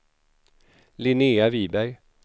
Linnea Viberg